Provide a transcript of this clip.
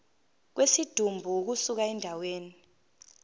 kwesidumbu ukusuka endaweni